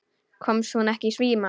Komst hún ekki í síma?